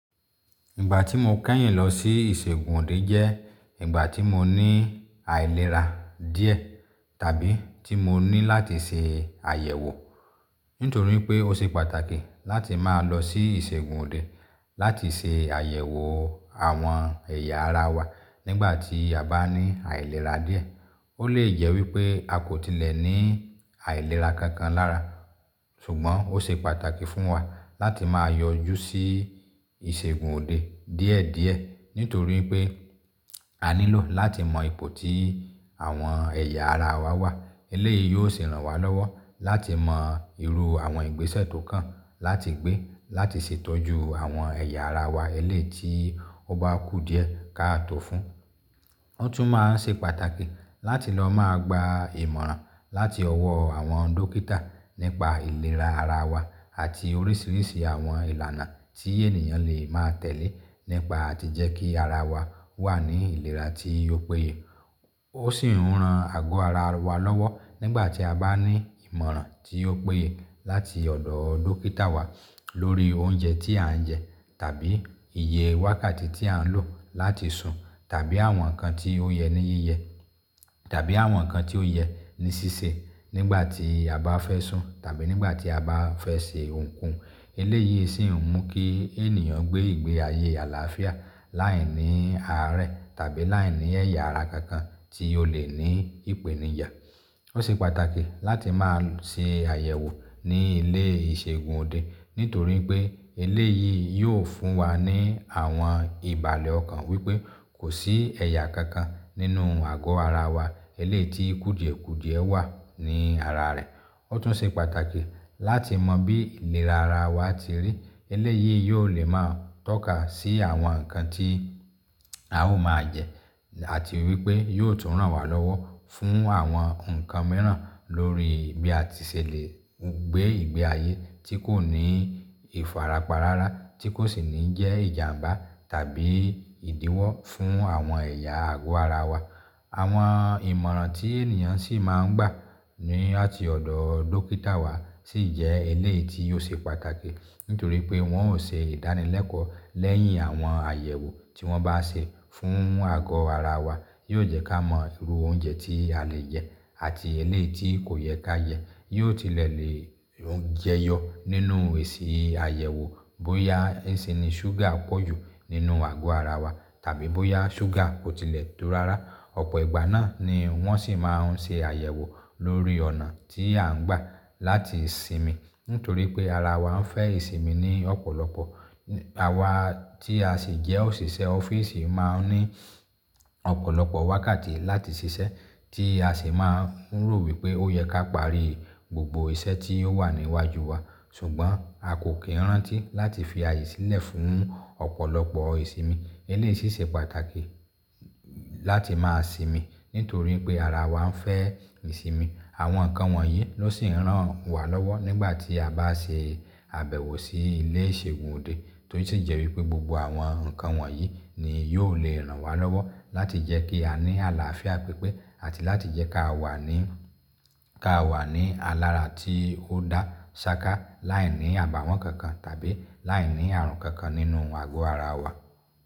Ìgbà tí mo kẹ́yìn lọ sí ìṣègùn òde jẹ́ ìgbà tí mo ní àìlera díẹ̀ tàbí tí mo ní láti ṣe àyẹ̀wò. Nítorí pé ó ṣe pàtàkì láti máa lọ sí ìṣègùn òde láti ṣe àyẹ̀wò àwọn ẹ̀yà ara wa nígbà tí a bá ní àìlera díẹ̀. Ó lè jẹ́ wípé a kò tilẹ̀ ní àìlera kankan lára, ṣùgbọ́n ó ṣe pàtàkì fún wa láti máa yọjú sí ìṣègùn òde díẹ̀ díẹ̀ nítorí pé a nílò láti mọ ipò tí àwọn ẹ̀yà ara wa wà. Eléyìí yóò sì ràn wá lọ́wọ́ láti mọ irú àwọn ìgbésẹ̀ tó kàn láti gbé, láti ṣètọ́jú àwọn ẹ̀yà ara wa eléyìí tí ó bá kú díẹ̀ káàtò fún. Ó tún máa ń ṣe pàtàkì láti lọ máa gba ìmọ̀ràn láti ọwọ́ àwọn dókítà nípa ìlera ara wa àti oríṣiríṣi àwọn ìlànà tí ènìyàn lè máa tẹ̀lé nípa tí jẹ́ kí ara wa wà ní ìlera tí yóò péye. Ó sì ń ran àgọ́ ara wa lọ́wọ́ nígbà tí a bá ní ìmọ̀ràn tí ó péye láti ọ̀dọ̀ dókítà wa lórí oúnjẹ tí à ń jẹ tàbí iye wákàtí tí à ń lò láti sùn tàbí àwọn nǹkan tí ó yẹ ní yíyẹ tàbí àwọn nǹkan tí ó yẹ ní ṣíṣe nígbà tí a bá fẹ́ sùn tàbí nígbà tí a bá fẹ́ ṣe ohùn ko hun. Eléyìí sì ń mú kí ènìyàn gbé ìgbé ayé àlàáfíà láìní àárẹ̀ tàbí láìní ẹ̀yà ara kankan tí ó lè ní ìpènijà. Ó ṣe pàtàkì láti máa ṣe àyẹ̀wò ní ilé ìṣègùn òde nítorí pé eléyìí yóò fún wa ní àwọn ìbàlẹ̀ ọkàn wípé kò sí ẹ̀yà kankan nínú àgọ́ ara wa eléyìí tí kùdìẹ̀kùdìẹ̀ wà ní ara rẹ̀. Ó tún ṣe pàtàkì láti mọ bí ìlera ara wa ti rí. Eléyìí yóò lè máa tọ́ka sí àwọn nǹkan tí a ó máa jẹ àti wípé yóò tún ràn wá lọ́wọ́ fún àwọn nǹkan mìíràn lórí bí a ti ṣèlé gbé ìgbé ayé tí kò ní ìfàràpa rárá tí kò sì ní jẹ́ ìjàǹbá tàbí ìdíwọ́ fún àwọn ẹ̀yà àgọ́ ara wa. Àwọn ìmọ̀ràn tí ènìyàn sì máa ń gbà ní ọ̀tí ọ̀dọ̀ dókítà wa sì jẹ́ eléyìí tí ó ṣe pàtàkì nítorí pé wọ́n ó ṣe ìdánilẹ́kọ̀ọ́ lẹ́yìn àwọn àyẹ̀wò tí wọ́n bá ṣe fún àgọ́ ara wa. Yóò jẹ́ ká mọ irú oúnjẹ tí a lè jẹ àti eléyìí tí kò yẹ ká jẹ. Yóò tilẹ̀ lè jẹyọ nínú èsì àyẹ̀wò bóyá èéṣí ni ṣúgà pọ̀jù nínú àgọ́ ara wa tàbí bóyá ṣúgà kò tilẹ̀ tó rárá. Ọ̀pọ̀ ìgbà náà ni wọ́n sì máa ń ṣe àyẹ̀wò lórí ọ̀nà tí à ń gbà láti sinmi nítorí pé ara wa ń fẹ́ ìsinmi ní ọ̀pọ̀lọpọ̀. Àwa tí a sì jẹ́ òṣìṣẹ́ ọ́fíìsì máa ń ní ọ̀pọ̀lọpọ̀ wákàtí láti ṣiṣẹ́ tí a sì máa ń rò wípé ó yẹ ká parí gbogbo iṣẹ́ tí ó wà níwájú wa. Ṣùgbọ́n a kò kí rántí láti fi àyè sílẹ̀ fún ọ̀pọ̀lọpọ̀ ìsinmi. Eléyìí sì ṣe pàtàkì láti máa sinmi nítorí pé ara wa ń fẹ́ ìsinmi. Àwọn nǹkan wọ̀nyí ló sì ń ràn wá lọ́wọ́ nígbà tí a bá ṣe àbẹ̀wò sí ilé ìṣègùn òde torí sì jẹ́ wípé gbogbo àwọn nǹkan wọ̀nyí ni yóò lè ràn wá lọ́wọ́ láti jẹ́ kí a ní àlàáfíà pípé àti láti jẹ́ ká wà ní, ká wà ní alára tí ó dá ṣáká láìní àbàwọ́n kankan tàbí láìní ààrùn kankan nínú àgọ́ ara wa.